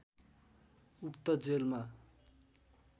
उक्त जेलमा